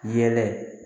Yɛlɛ